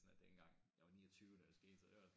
Er det ikke gang jeg var 29 da det skete så det også